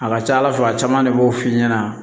A ka ca ala fɛ a caman de b'o f'i ɲɛna